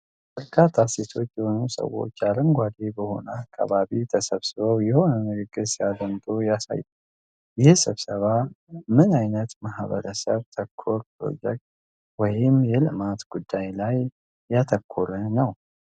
በርካታ ሴቶች የሆኑ ሰዎች አረንጓዴ በሆነ አካባቢ ተሰብስበው የሆነ ንግግር ሲያደምጡ ያሳያል። ይህ ስብሰባ ምን ዓይነት ማህበረሰብ ተኮር ፕሮጀክት ወይም የልማት ጉዳይ ላይ ያተኮረ ነው?